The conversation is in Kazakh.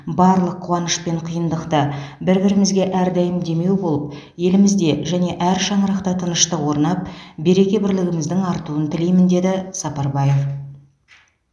барлық қуаныш пен қиындықты бір бірімізге әрдайым демеу болып елімізде және әр шаңырақта тыныштық орнап береке бірлігіміздің артуын тілеймін деді сапарбаев